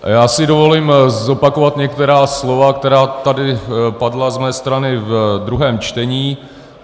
Já si dovolím zopakovat některá slova, která tady padla z mé strany ve druhém čtení.